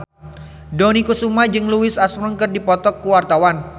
Dony Kesuma jeung Louis Armstrong keur dipoto ku wartawan